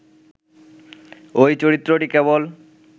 ঐ চরিত্রটি কেবল